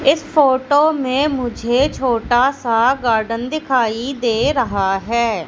इस फोटो में मुझे छोटा सा गार्डन दिखाई दे रहा है।